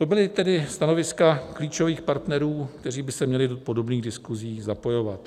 To byla tedy stanoviska klíčových partnerů, kteří by se měli do podobných diskusí zapojovat.